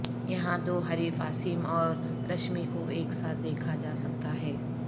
یہاں دو حریف عاصم اور رشمی کو ایک ساتھ دیکھا جا سکتا ہے